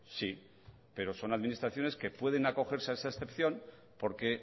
sí pero son administraciones que pueden acogerse a esa excepción porque